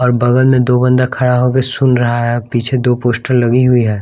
और बगल में दो बंदा खड़ा होक सुन रहा है पीछे दो पोस्टर लगी हुई है।